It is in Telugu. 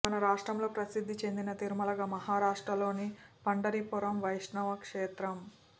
మన రాష్ట్రంలో ప్రసిద్ది చెందిన తిరుమలగా మహారాష్ట్రలోని పండరిపురం వైష్ణవ క్షేత్రం